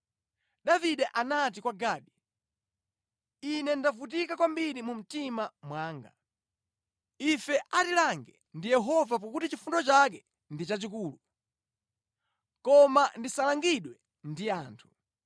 Davide anati kwa Gadi, “Ine ndavutika kwambiri mu mtima mwanga. Ife atilange ndi Yehova pakuti chifundo chake ndi chachikulu, koma ndisalangidwe ndi anthu.”